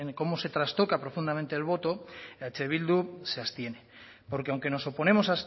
cómo se trastoca profundamente el voto eh bildu se abstiene porque aunque nos oponemos